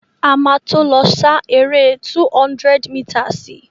A má tó lọ sá eré 200 mításìì.